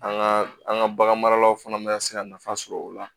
An ka an ka bagan maralaw fana ma se ka nafa sɔrɔ o la